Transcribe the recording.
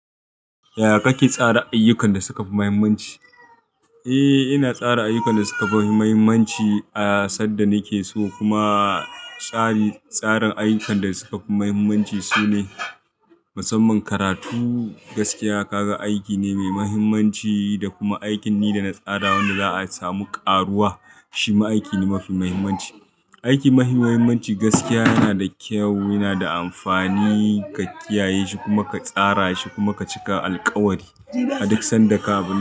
Yaya kake tsara ayyukan da suka fi muhimmanci? Eh, ina tsara ayyukan da suka fi muhimmanci a sadda nake so kuma tsarin ayyukan da suka fi muhimmanci sune musamman karatu gaskiya ka ga aiki ne mai muhimmanci da kuma aikin da na tsara wanda za a samu ƙaruwa shi ma aiki ne mafi muhimmanci. Aiki mafi muhimmanci gaskiya yana da kyau, yana da amfani ka kiyaye shi kuma ka tsara shi kuma ka cika alkawari aduk sanda ka ba.